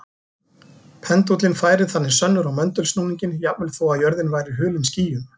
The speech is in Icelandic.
Pendúllinn færir þannig sönnur á möndulsnúninginn jafnvel þó að jörðin væri hulin skýjum.